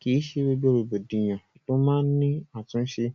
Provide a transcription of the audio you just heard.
Kì í ṣe gbogbo rògbòdìyàn lo máa n ni àtúnṣe,